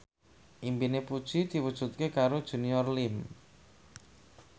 impine Puji diwujudke karo Junior Liem